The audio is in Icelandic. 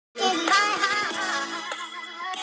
Kendra, hefur þú prófað nýja leikinn?